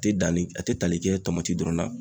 A tɛ danni a tɛ tali kɛ dɔrɔn na.